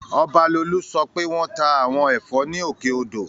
Ọbalolú sọ pé wọ́n ta àwọn ẹ̀fọ́ ní Òkè odò